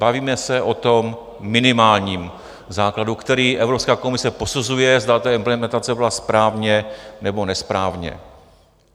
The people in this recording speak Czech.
Bavíme se o tom minimálním základu, který Evropská komise posuzuje, zda ta implementace byla správně, nebo nesprávně.